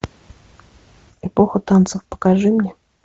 эпоха танцев покажи мне